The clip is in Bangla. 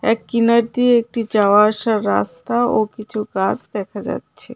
এক কিনার দিয়ে একটি যাওয়া আসার রাস্তা ও কিছু গাস দেখা যাচ্ছে।